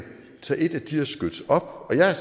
tager et af de her skyts op og jeg er